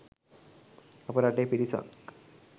අප රටෙහි පිරිසක්